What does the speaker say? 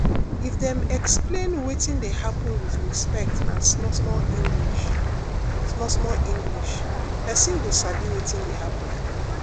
if dem explain wetin dey happen with respect and small-small english small-small english person go sabi wetin dey happen